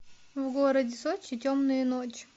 в городе сочи темные ночи